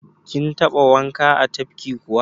Kin taɓa wanka a tafki kuwa?